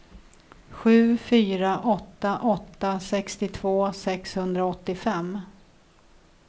sju fyra åtta åtta sextiotvå sexhundraåttiofem